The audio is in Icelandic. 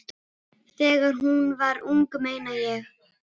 Þegar hún var ung, meina ég.